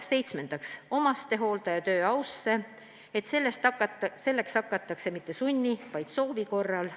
Seitsmendaks, omastehooldaja töö ausse, et seda ei tehtaks mitte sunni, vaid soovi korral.